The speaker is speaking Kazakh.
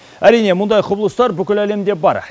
әрине мұндай құбылыстар бүкіл әлемде бар